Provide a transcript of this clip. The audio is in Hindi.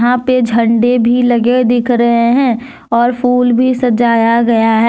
यहां पे झंडे भी लगे दिख रहे है और फूल भी सजाया गया है।